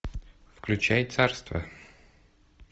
включай царство